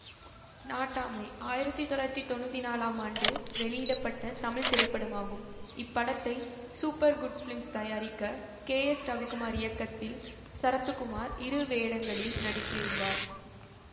நாட்டாமை ஆயிரத்தி தொள்ளாயிரத்தி தொன்னூத்தி நாலாம் ஆண்டு வெளியிட பட்ட தமிழ் திரைப்படமாகும் இப்படத்தை சூப்பர் குட் பிலிம்ஸ் தயாரிக்க கேஎஸ்ரவிக்குமார் இயக்கத்தில் சரத்துக்குமார் இரு வேடங்களில் நடித்து இருந்தார்